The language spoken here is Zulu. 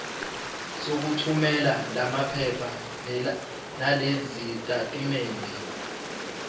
sokuthumela lamaphepha nalezitatimendi